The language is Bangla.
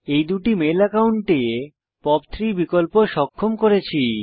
এই দুটি মেইল অ্যাকাউন্টে পপ 3 বিকল্প সক্ষম করেছি